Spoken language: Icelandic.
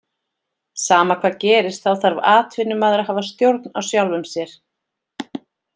Sama hvað gerist þá þarf atvinnumaður að hafa stjórn á sjálfum sér.